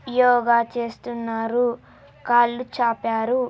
యోగ చేస్తున్నారు కాళ్లు చాపారు----